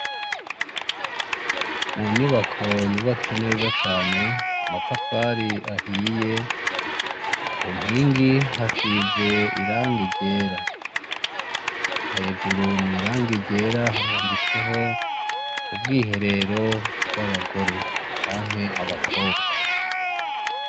Munyubako yubatse neza cane amatafari ahiye kunkingi hasize irangi ryera hejuru mwirangi ryera handitseho ubwiherero bwabagore canke abakobwa